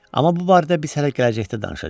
Amma bu barədə biz hələ gələcəkdə danışacağıq.